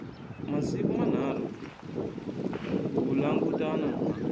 masiku manharhu ku langutana na